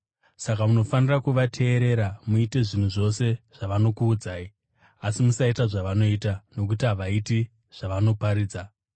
Saka munofanira kuvateerera muite zvinhu zvose zvavanokuudzai. Asi musaita zvavanoita, nokuti havaiti zvavanoparidza.